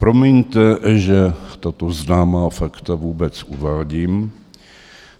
Promiňte, že tato známá fakta vůbec uvádím,